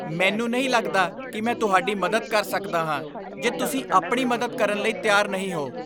ਮੈਨੂੰ ਨਹੀਂ ਲੱਗਦਾ ਕਿ ਮੈਂ ਤੁਹਾਡੀ ਮਦਦ ਕਰ ਸਕਦਾ ਹਾਂ ਜੇ ਤੁਸੀਂ ਆਪਣੀ ਮਦਦ ਕਰਨ ਲਈ ਤਿਆਰ ਨਹੀਂ ਹੋ।